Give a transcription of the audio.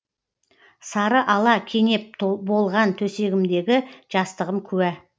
сары ала кенеп болған төсегімдегі жастығым куә